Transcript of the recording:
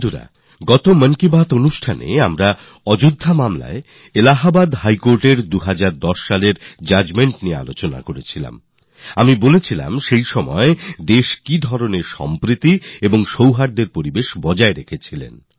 সাথীরা আগের মনের কথায় আমি ২০১০এ অযোধ্যা মামলায় এলাহাবাদ হাই কোর্টের জাজমেন্ট নিয়ে চর্চা করেছিলাম আর আমি বলেছিলাম যে দেশ সেই সময় কিভাবে শান্তি আর ভ্রাতৃত্ব বজায় রেখেছিল